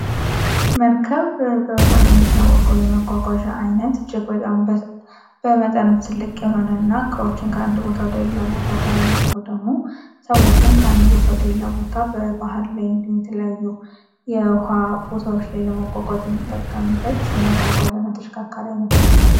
በመጠኑም ትልቅ የሆነና መልካም ይታወቀው የመጓሻ አይነት በጣም በመጠኑም ትልቅ የሆነና ቦታ በባህል ላይ የተለያዩበት ነው